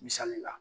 Misali la